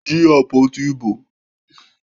Jí àpótí ìbò!